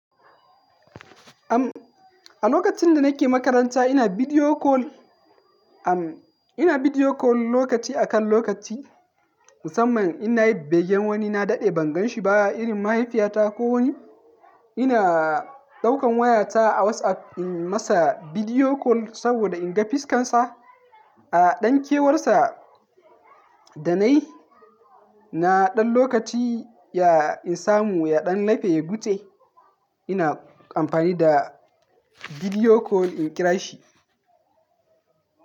Am, a lokacin da nake makaranta ina video call, am, ina video call lokaci akan lokaci. Musamman ina yi begen wani na daɗe ban gan shi ba, irin mahaifiyata ko wani. Ina ɗaukan wayata a WhatsApp in masa video call saboda in ga fiskansa. A ɗan kewarsa da na yi, na ɗan lokaci ya in samu, ya ɗan lafe ya gutse. Ina amfani da video call in kira shi.